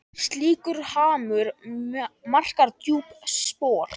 Slíkur harmur markar djúp spor.